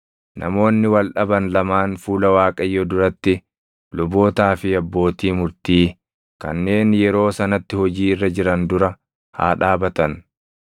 namoonni wal dhaban lamaan fuula Waaqayyoo duratti lubootaa fi abbootii murtii kanneen yeroo sanatti hojii irra jiran dura haa dhaabatan.